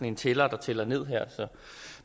en tæller der tæller ned